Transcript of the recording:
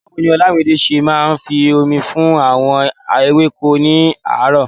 Báwo ni Olamide ṣe máa ń fi omi fún àwọn ewéko ní aràárọ̀?